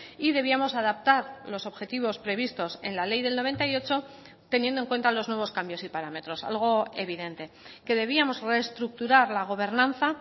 y debíamos adaptar los objetivos previstos en la ley del noventa y ocho teniendo en cuenta los nuevos cambios y parámetros algo evidente que debíamos reestructurar la gobernanza